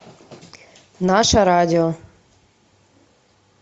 наше радио